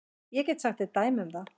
Ég get sagt þér dæmi um það.